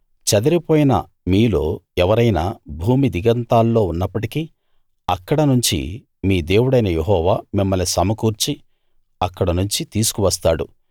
చెదిరిపోయిన మీలో ఎవరైనా భూమి దిగంతాల్లో ఉన్నప్పటికీ అక్కడ నుంచి మీ దేవుడైన యెహోవా మిమ్మల్ని సమకూర్చి అక్కడ నుంచి తీసుకు వస్తాడు